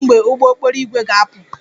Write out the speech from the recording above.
Kedu mgbe ụgbọ okporo ígwè ga-apụ?